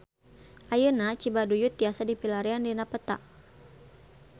Ayeuna Cibaduyut tiasa dipilarian dina peta